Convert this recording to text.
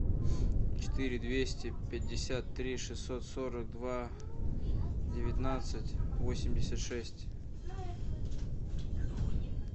четыре двести пятьдесят три шестьсот сорок два девятнадцать восемьдесят шесть